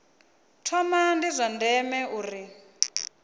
thoma ndi zwa ndeme uri